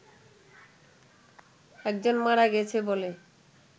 একজন মারা গেছে বলে